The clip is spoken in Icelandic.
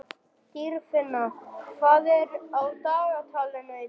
Dýrfinna, hvað er á dagatalinu í dag?